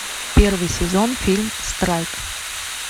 первый сезон фильм страйк